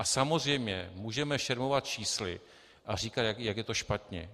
A samozřejmě můžeme šermovat čísly a říkat, jak je to špatně.